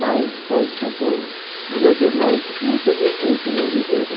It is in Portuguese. Mas foi tudo... Meus irmãos, infelizmente, não viveram.